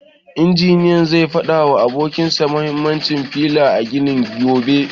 Injiniyan zai fada wa abokin sa mahimmancin fila a gini gobe.